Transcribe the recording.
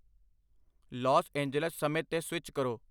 Las Angeles ਸਮੇਂ 'ਤੇ switch ਕਰੋ